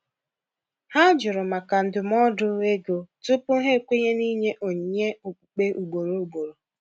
Ha jụrụ maka ndụmọdụ ego tupu ha ekwenye n’ịnye onyinye okpukpe ugboro ugboro.